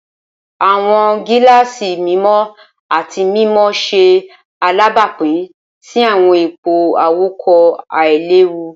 Awọn gilaasi mimọ ati mimọ ṣe alabapin si awọn ipo awakọ ailewu.